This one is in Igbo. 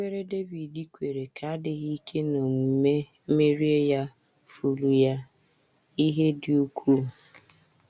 Nkwere Devid kwere ka adịghị ike n’omume merie ya furu ya ihe dị ukwuu.